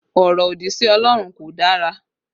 Ọrọ òdì sí Ọlọ́run kò dára